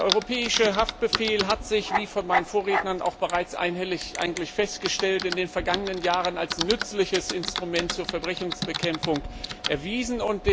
Der Europäische Haftbefehl hat sich wie von meinen Vorrednern bereits einhellig festgestellt in den vergangenen Jahren als nützliches Instrument zur Verbrechensbekämpfung erwiesen.